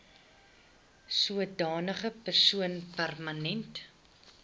sodanige persoon permanent